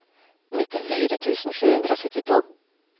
nittifire tusen sju hundre og syttito